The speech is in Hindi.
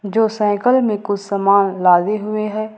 जो साइकल में कुछ सामान लादे हुए हैं।